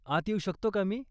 आत येऊ शकतो का मी?